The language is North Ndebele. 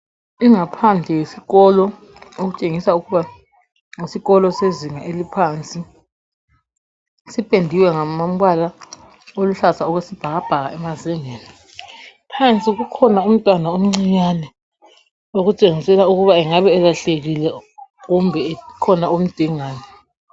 Ingaphandle yesikolo okutshengisa ukuba yisikolo sezinga eliphansi sipendiwe ngamabala aluhlaza okwesibhakabhaka. Phansi kukhona umntwana omncinyane okutshengisela ukuba angabe elahlekile kumbe ekhona omdingayo.